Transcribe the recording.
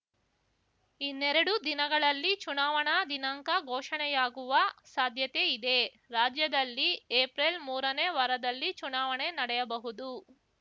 ಇನ್ನೆರಡು ದಿನಗಳಲ್ಲಿ ಚುನಾವಣಾ ದಿನಾಂಕ ಘೋಷಣೆಯಾಗುವ ಸಾಧ್ಯತೆ ಇದೆ ರಾಜ್ಯದಲ್ಲಿ ಎಪ್ರಿಲ್ ಮೂರನೇ ವಾರದಲ್ಲಿ ಚುನಾವಣೆ ನಡೆಯಬಹುದು